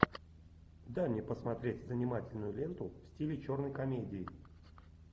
дай мне посмотреть занимательную ленту в стиле черной комедии